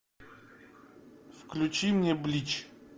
включи мне блич